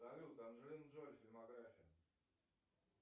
салют анджелина джоли фильмография